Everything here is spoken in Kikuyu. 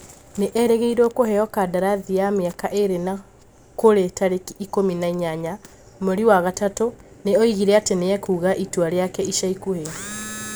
Nĩ erĩgĩrĩirwo kũheo kandarathi ya mĩaka ĩĩrĩ na kũrĩ tarĩki ikumi na inyanya mweri wa gatatũ nĩ oigire atĩ nĩ ekuga itua rĩake ica ikuhĩ.